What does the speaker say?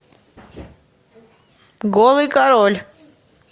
голый король